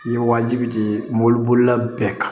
I ye wajibi de di mobili bolila bɛɛ kan